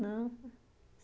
Não.